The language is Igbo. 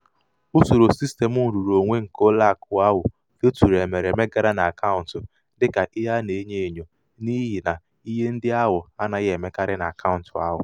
usoro sistem nrụrụonwe nke ụlọakụ ahụ feturu emereme gara n'akaụntụ dịka ihe a na-enyo enyo n'ihi ihe ndị na-anaghị emekarị n'akaụntụ ahụ.